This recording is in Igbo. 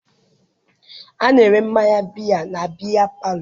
A na-ere mmanya biya na biya palọ.